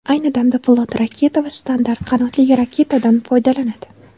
Ayni damda flot raketa va standart qanotli raketadan foydalanadi.